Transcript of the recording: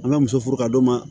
An bɛ muso furu ka d'u ma